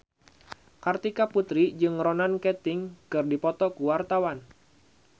Kartika Putri jeung Ronan Keating keur dipoto ku wartawan